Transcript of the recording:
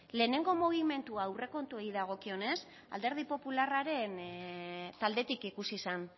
lehenengo mugimendua aurrekontuei dagokionez alderdi popularraren taldetik ikusi zan